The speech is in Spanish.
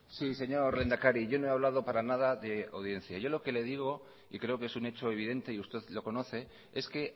sí señor lehendakari yo no he hablado para nada de audiencia yo lo que le digo y creo que es un hecho evidente y usted lo conoce es que